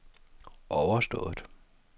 overstået